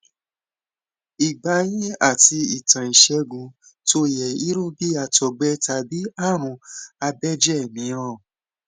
ìgbà yín àti ìtàn ìṣègùn tó yẹ irú bí àtògbẹ tàbí àrùn abẹjẹ mìíràn